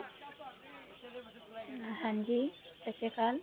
ਹਨ ਜੀ ਸਸ੍ਤੀਕੈੱ